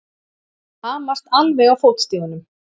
Hamast alveg á fótstigunum!